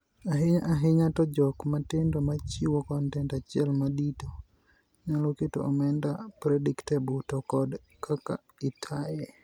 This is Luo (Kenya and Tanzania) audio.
Ahinya ahinya to jok matindo machiwo kontent achiel madito nyalo keto omenda predictable to kod kaka itaaye.